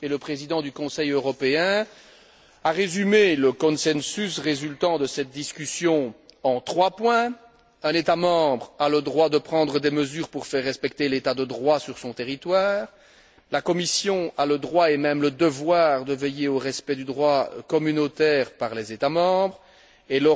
Le président du Conseil européen a résumé le consensus résultant de cette discussion en trois points un État membre a le droit de prendre des mesures pour faire respecter l'état de droit sur son territoire, la Commission a le droit et même le devoir de veiller au respect du droit communautaire par les États membres et